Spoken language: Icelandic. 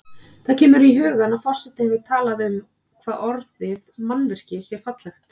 Það kemur í hugann að forseti hefur talað um hvað orðið mannvirki sé fallegt.